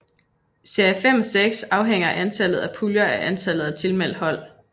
I serie 5 og 6 afhænger antallet af puljer af antallet af tilmeldte hold